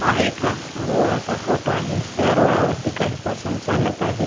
हा एका रोडा चा फोटो आहे त्या रोडा वरती काही पर्सन चालत आहेत.